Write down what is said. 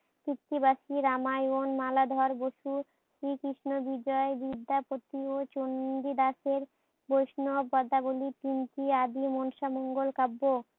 কৃতিবাসী রামায়ণ, মালাধর বসু, শ্রীকৃষ্ণ বিজয়, বিদ্যাপতি ও চন্ডিদাসের বৈষ্ণব পদাবলী তিনটি আদি মনসা মঙ্গল কাব্য